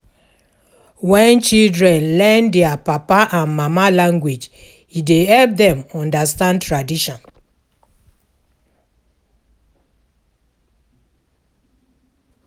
When children learn their papa and mama language e dey help dem understand tradition